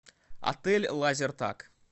отель лазертаг